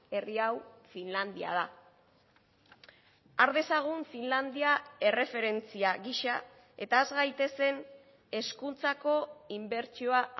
herri hau finlandia da har dezagun finlandia erreferentzia gisa eta has gaitezen hezkuntzako inbertsioa